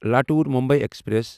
Latur Mumbai express